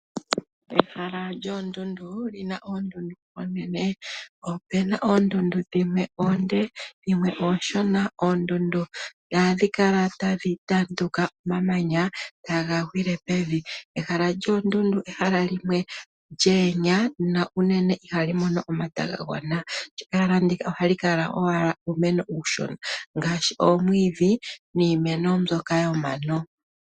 Ehala lyoondundu luna oondundu oonene. Opuna oondundu ooshona dho dhimwe oonde . Oondundu ohadhi kala tadhi tanduka omamanya taga gwile pevi . Ehala lyoondundu ehala limwe lya pupyala na unene ihali mono omata gonvula gagwana . Ehala ndika ohali kala owala uumeno uushona ngaashi omwiidhi niimeno mbyoka yomano.